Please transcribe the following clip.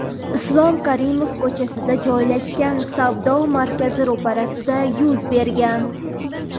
Islom Karimov ko‘chasida joylashgan savdo markazi ro‘parasida yuz bergan.